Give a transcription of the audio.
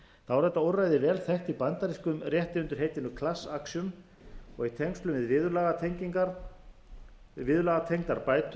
þá er þetta úrræði vel þekkt í bandarískum rétti undir heitinu class action og í tengslum við viðurlagatengdar bætur